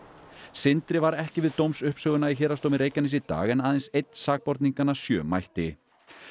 sindri var ekki við dómsuppsöguna í Héraðsdómi Reykjaness í dag en aðeins einn sakborninganna sjö mætti